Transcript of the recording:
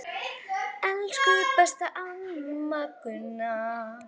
Elsku besta amma Gunna.